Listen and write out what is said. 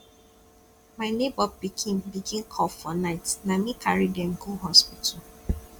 my nebor pikin begin cough for night na me carry dem go hospital